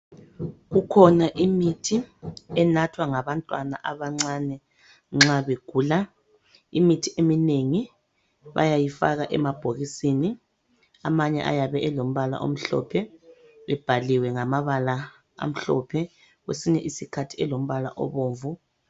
Kukhona imithi enathwa ngabantwana abancane nxa begula imithi eminengi bayayifaka emabhokisini amanye ayabe elombala omhlophe ebhaliwe ngamabala amhlophe kwesinye isikhathi elombala obomvu.